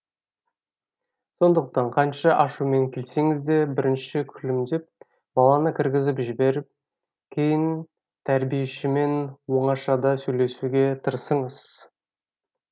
сондықтан қанша ашумен келсеңіз де бірінші күлімдеп баланы кіргізіп жіберіп кейін тәрбиешімен оңашада сөйлесуге тырысыңыз